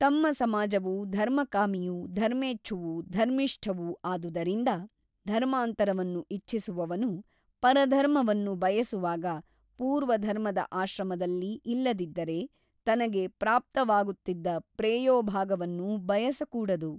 ತಮ್ಮ ಸಮಾಜವು ಧರ್ಮಕಾಮಿಯೂ ಧರ್ಮೇಚ್ಛುವೂ ಧರ್ಮಿಷ್ಠವೂ ಆದುದರಿಂದ ಧರ್ಮಾಂತರವನ್ನು ಇಚ್ಚಿಸುವವನು ಪರಧರ್ಮವನ್ನು ಬಯಸುವಾಗ ಪೂರ್ವಧರ್ಮದ ಆಶ್ರಮದಲ್ಲಿ ಇಲ್ಲದಿದ್ದರೆ ತನಗೆ ಪ್ರಾಪ್ತವಾಗುತ್ತಿದ್ದ ಪ್ರೇಯೋಭಾಗವನ್ನು ಬಯಸಕೂಡದು.